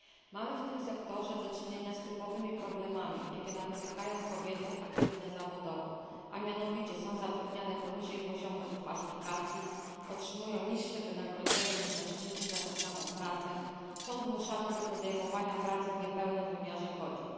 Mamy w tym sektorze do czynienia z typowymi problemami, jakie napotykają kobiety aktywne zawodowo, a mianowicie są zatrudniane poniżej poziomu ich kwalifikacji, otrzymują niższe wynagrodzenie, niż mężczyźni za tę samą pracę, są zmuszane do podejmowania pracy w niepełnym wymiarze godzin.